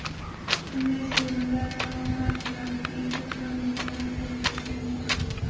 Bunday shevalararo farqlarga ko‘plab misollar keltirish mumkin.